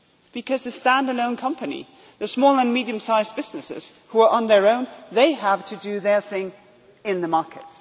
Because stand alone companies, the small and medium sized businesses who are on their own, they have to do their thing in the market.